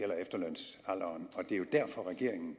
er jo derfor regeringen